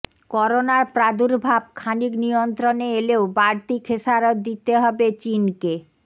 করোনার প্রাদুর্ভাব খানিক নিয়ন্ত্রণে এলেও বাড়তি খেসারত দিতে হবে চিনকে